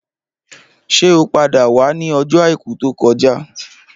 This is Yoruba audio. Ṣé o padà wá ni ọjọ àìkú tó kọjá?